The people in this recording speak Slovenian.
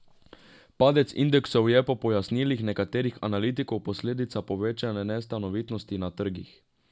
Padec indeksov je po pojasnilih nekaterih analitikov posledica povečane nestanovitnosti na trgih.